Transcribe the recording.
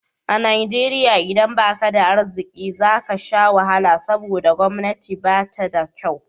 A Najeriya idan baka da arziki zaka sha wahala saboda gwamnati ba ta da kyau